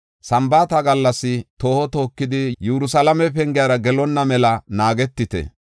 Sambaata gallas tooho tookidi Yerusalaame pengiyara gelonna mela naagetite.